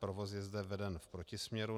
Provoz je zde veden v protisměru.